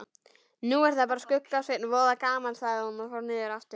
Nú er það bara Skugga-Sveinn, voða gaman sagði hún og fór niður aftur.